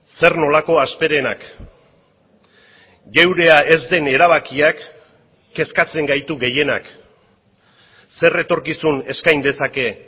zer nolako hasperenak geurea ez den erabakiak kezkatzen gaitu gehienak zer etorkizun eskain dezake